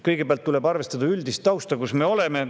Kõigepealt tuleb arvestada üldist tausta, kus me oleme.